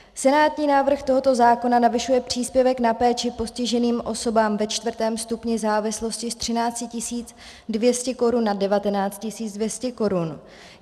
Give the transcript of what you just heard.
Senátní návrh tohoto zákona navyšuje příspěvek na péči postiženým osobám ve čtvrtém stupni závislosti z 13 200 korun na 19 200 korun.